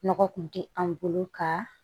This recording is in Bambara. Nɔgɔ kun tɛ an bolo ka